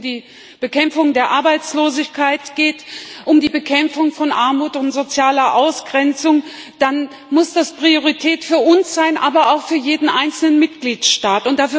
Wenn es um die Bekämpfung der Arbeitslosigkeit geht, um die Bekämpfung von Armut und sozialer Ausgrenzung, dann muss das Priorität für uns sein, aber auch für jeden einzelnen Mitgliedstaat.